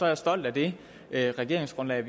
jeg ser det her at jeg også var med